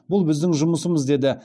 бұл біздің жұмысымыз деді